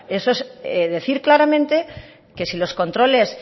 eso es decir claramente que si los controles